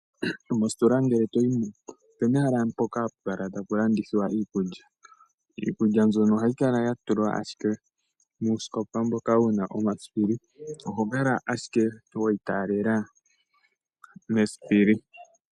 Mositola ngele toyimo opena ehala mpoka hapukala tapu landithwa iikulya, iikulya mbyono ohayi kala yatulwa ashike muusikopa mboka wuna omasipili, oho kala ashike weyi talela mesipili.